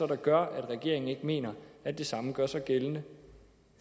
gør at regeringen ikke mener at det samme skal gøre sig gældende